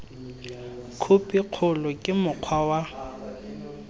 khophi kgolo ke mokgwa wa